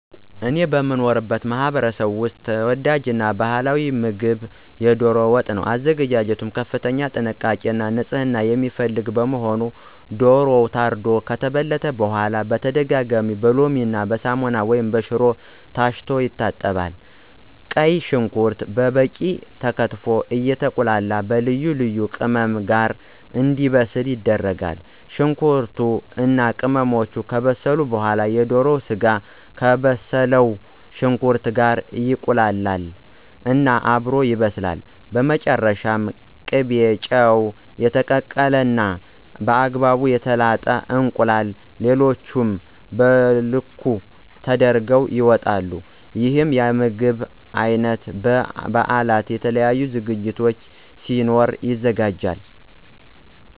እኔ በምኖርበት ማህበረሰብ ውስጥ ተወዳጅ ባህላዊ ምግብ የዶሮ ወጥ ነው። አዘገጃጀቱ ከፍተኛ ጥንቃቄ እና ንፅህና የሚፈልግ በመሆኑ ዶሮው ታርዶ ከተበለተ በኋላ በተደጋጋሚ በሎሚ፣ ሳሙና ወይም በሽሮ ታሽቶ ይታጠባል። ቀይ ሽንኩርት በበቂ ተከትፎ አየተቁላላ በልዩ ልዩ ቅመም ጋር እንዲበስል ይደረጋል። ሽንኩርቱ እና ቅመሞቹ ከበሰሉ በኋላ የዶሮ ስጋው ከበሰለው ሽንኩርት ጋር ይቀላቀል እና አብሮ ይበስላል። በመጨረሻም ቅቤ፣ ጨው፣ እና የተቀቀለ እና በአግባቡ የተላጠ እንቁላል ሌሎቹም በልኩ ተደርገው ይወጣል። ይህ የምግብ አይነት በ በበአላት፣ የተለያዩ ዝግጅቶች ሲኖሩ ይዘጋጃል።